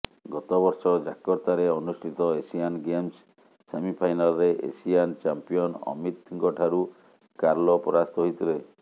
ଗତ ବର୍ଷ ଜାକର୍ତ୍ତାରେ ଅନୁଷ୍ଠିତ ଏସିଆନ୍ ଗେମ୍ସ ସେମିଫାଇନାଲରେ ଏସିଆନ ଚାମ୍ପିଅନ ଅମିତଙ୍କଠାରୁ କାର୍ଲୋ ପରାସ୍ତ ହୋଇଥିଲେ